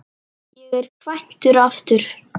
Ég er kvæntur aftur.